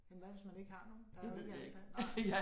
Men hvad hvis man ikke har nogen? Der jo ikke alle der nej